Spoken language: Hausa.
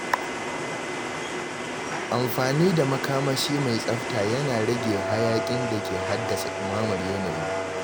Amfani da makamashi mai tsafta yana rage hayakin da ke haddasa dumamar yanayi.